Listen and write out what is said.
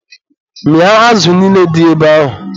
Mịa azụ niile dị ebe ahụ!